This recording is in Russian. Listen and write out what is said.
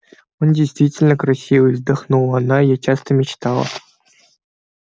он действительно красивый вздохнула она я часто мечтала